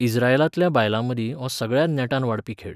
इस्रायेलांतल्या बायलांमदीं हो सगळ्यांत नेटान वाडपी खेळ.